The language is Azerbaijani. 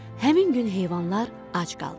Həmin gün heyvanlar ac qaldılar.